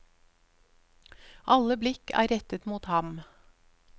Alle blikk er rettet mot ham.